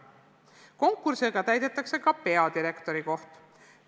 Konkursiga täidetakse ka peadirektori koht.